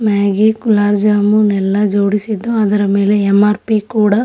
Maggi gulab jamun ಎಲ್ಲ ಜೋಡಿಸಿದ್ದಾರೆ ಅದ್ರ ಮೇಲೆ ಎಮ್ ಆರ್ ಪಿ ಕೂಡ--